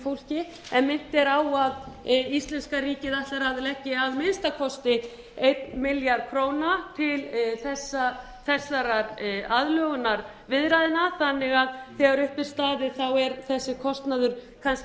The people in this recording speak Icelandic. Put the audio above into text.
fólki en minnt er á að íslenska ríkið ætlar að leggja að minnsta kosti einn milljarð króna til þessara aðlögunarviðræðna þannig að þegar upp er staðið er þessi kostnaður kannski